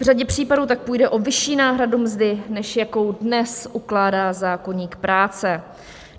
V řadě případů tak půjde o vyšší náhradu mzdy, než jakou dnes ukládá zákoník práce.